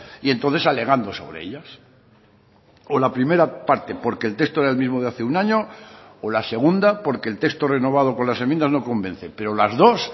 y entonces alegando sobre ellas o la primera parte porque el texto era el mismo de hace un año o la segunda porque el texto renovado con las enmiendas no convence pero las dos